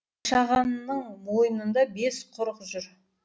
қашағанның мойнында бес құрық жүр